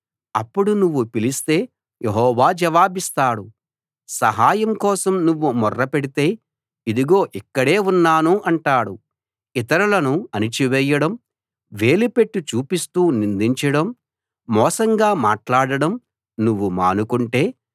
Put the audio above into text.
అప్పుడు నువ్వు పిలిస్తే యెహోవా జవాబిస్తాడు సహాయం కోసం నువ్వు మొర్ర పెడితే ఇదిగో ఇక్కడే ఉన్నాను అంటాడు ఇతరులను అణిచివేయడం వేలుపెట్టి చూపిస్తూ నిందించడం మోసంగా మాట్లాడడం నువ్వు మానుకుంటే